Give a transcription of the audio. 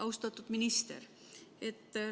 Austatud minister!